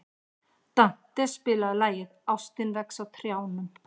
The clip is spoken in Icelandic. Dante, spilaðu lagið „Ástin vex á trjánum“.